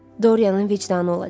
Doryanın vicdanı olacaq.